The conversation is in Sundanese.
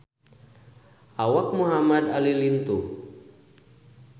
Awak Muhamad Ali lintuh